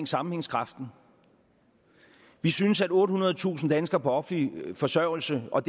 sammenhængskraften vi synes at ottehundredetusind danskere på offentlig forsørgelse og